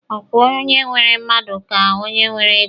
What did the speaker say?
Ọ kwa onye nwere mmadụ ka onye nwere ego?